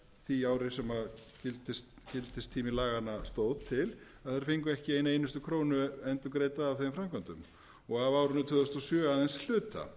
því ári sem gildistími laganna stóð til að þeir fengu ekki eina einustu krónu endurgreidda af þeim framkvæmdum og af árinu tvö þúsund og sjö aðeins hluta